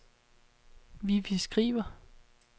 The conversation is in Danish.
Vivi Skriver